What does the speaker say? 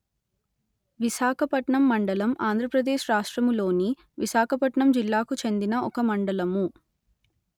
విశాఖపట్నం మండలం ఆంధ్ర ప్రదేశ్ రాష్ట్రములోని విశాఖపట్నం జిల్లాకు చెందిన ఒక మండలము